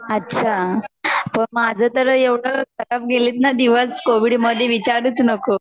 अच्छा माझे तर एवढे गेले न दिवस कोविड मधे विचारुच नकोस